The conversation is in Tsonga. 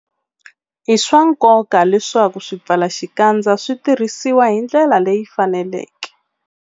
I swa nkoka leswaku swipfalaxikandza swi tirhisiwa hi ndlela leyi faneleke.